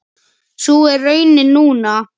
Sú er raunin núna.